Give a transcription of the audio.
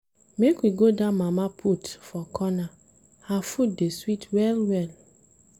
Make we go dat mama put for corner, her food dey sweet well-well.